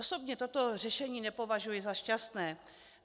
Osobně toto řešení nepovažuji za šťastné.